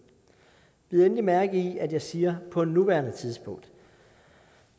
endelig mærke i at jeg siger på nuværende tidspunkt